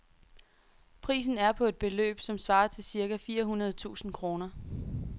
Prisen er på et beløb, som svarer til cirka fire hundrede tusind kroner.